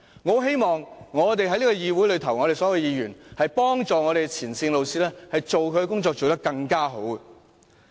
我希望所有議員都幫助前線老師把工作做得更好。